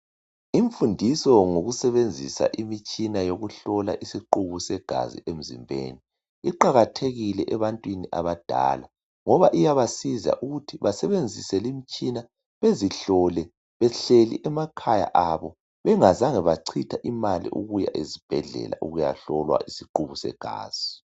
imfundiso ngokusebenzisa imitshina yokuhlola isiquku segazi emzimbeni iqakathekile ebantwini abadala ngoba iyabasiza ukuthi basebenzise limtshina bezihlole behleli emakhaya abo bengazange bachitha imali ukuya ezibhedlela ukuya hlolwa isiqubu segazi